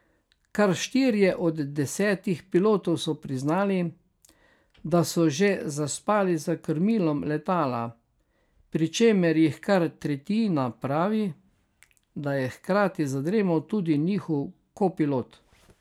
Kar štirje od desetih pilotov so priznali, da so že zaspali za krmilom letala, pri čemer jih kar tretjina pravi, da je hkrati zadremal tudi njihov kopilot.